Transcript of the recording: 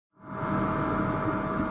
Nei, held ekki